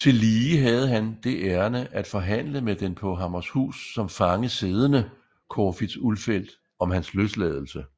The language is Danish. Tillige havde han det ærinde at forhandle med den på Hammershus som fange siddende Corfitz Ulfeldt om hans løsladelse